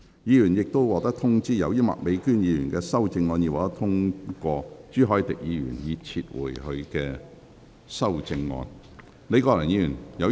議員已獲通知，由於麥美娟議員的修正案獲得通過，朱凱廸議員已撤回他的修正案。